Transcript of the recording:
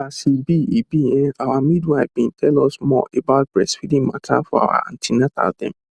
as e be e be[um]our midwife bin tell us more about breastfeeding mata for our an ten atal dem